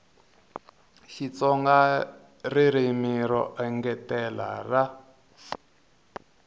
xitsonga ririmi ro engetela ra